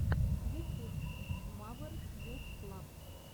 ютюб мавер гуз клаб